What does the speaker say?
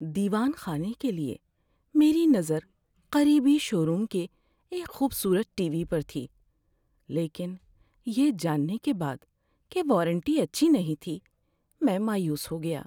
دیوان خانے کے لیے میری نظر قریبی شو روم کے ایک خوبصورت ٹی وی پر تھی لیکن یہ جاننے کے بعد کہ وارنٹی اچھی نہیں تھی، میں مایوس ہو گیا۔